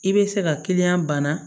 I bɛ se ka kiliyan bana